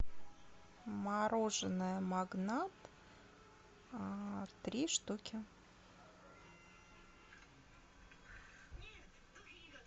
мороженое магнат три штуки